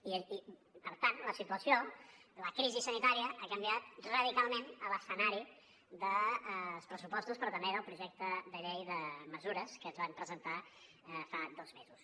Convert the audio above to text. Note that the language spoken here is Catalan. i per tant la situació la crisi sanitària ha canviat radicalment l’escenari dels pressupostos però també del projecte de llei de mesures que es van presentar fa dos mesos